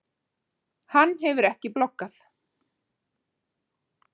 Hann hefur ekki bloggað?